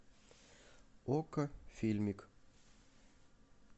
окко фильмик